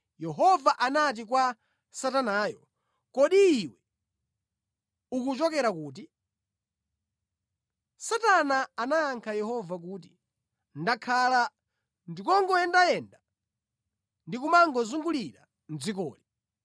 Yehova anati kwa Satanayo, “Kodi iwe ukuchokera kuti?” Satana anayankha Yehova kuti, “Ndakhala ndikungoyendayenda ndi kumangozungulira mʼdzikoli.”